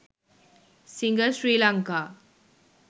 singer sri lanka